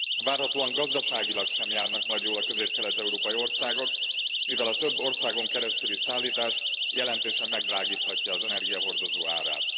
Várhatóan gazdaságilag sem járnak majd jól a közép kelet európai országok, mivel a több országon keresztüli szállítás jelentősen megdrágíthatja az energiahordozó árát.